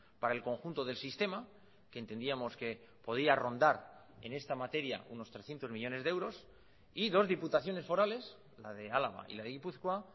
para el conjunto del sistema que entendíamos que podía rondar en esta materia unos trescientos millónes de euros y dos diputaciones forales la de álava y la de gipuzkoa